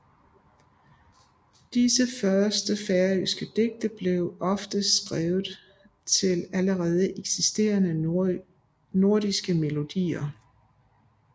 Disse første færøske digte blev ofte skrevet til allerede eksisterende nordiske melodier